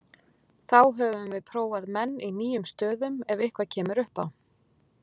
Þá höfum við prófað menn í nýjum stöðum ef eitthvað kemur upp á.